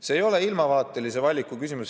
See ei ole ilmavaatelise valiku küsimus.